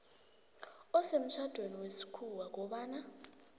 osemtjhadweni wesikhuwa kobana